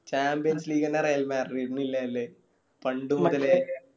Champions league ന്നെ ഇല്ല ലെ പണ്ട് മുതലേ